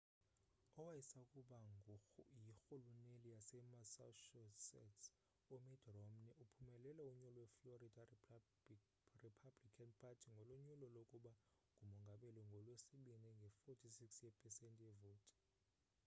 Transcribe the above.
owayesakuba yirhuluneli yasemassachusetts umitt romney uphumelele unyulo lwe-florida republican party ngolo nyulo lokuba ngumongameli ngolwesibini nge-46 yepesenti yevoti